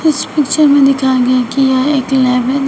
इस पिक्चर में दिखाया गया कि यह एक लैब है जहां--